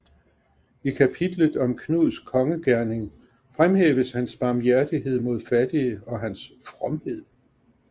I kapitlet om Knuds kongegerning fremhæves hans barmhjertighed mod fattige og hans fromhed